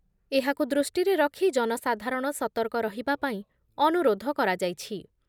ଏହାକୁ ଦୃଷ୍ଟିରେ ରଖି ଜନସାଧାରଣ ସତର୍କ ରହିବା ପାଇଁ ଅନୁରୋଧ କରାଯାଇଛି ।